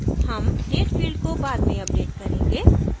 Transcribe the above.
हम date field को बाद में अपडेट करेंगे